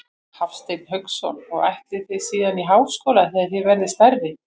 Hafsteinn Hauksson: Og ætlið þið síðan í háskóla þegar þið verðið stærri?